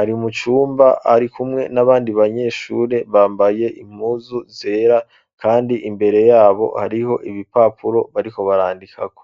ari mu cumba, ari kumwe n'abandi, banyeshure bambaye impuzu zera; kandi imbere y'abo, hariho ibipapuro, bariko barandikako.